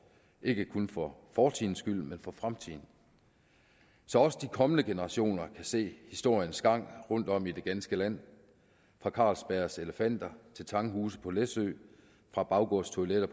ikke kun for fortidens skyld men også for fremtidens så også de kommende generationer kan se historiens gang rundtom i det ganske land fra carlsbergs elefanter til tanghuse på læsø fra baggårdstoiletter